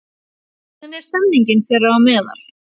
Hvernig er stemmingin þeirra á meðal?